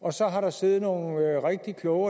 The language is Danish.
og så har der siddet nogle rigtig kloge